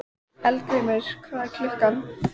Eldgrímur, hvað er klukkan?